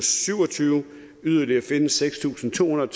syv og tyve yderligere finde seks tusind to hundrede